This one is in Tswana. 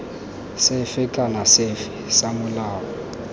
sefe kana sefe sa molao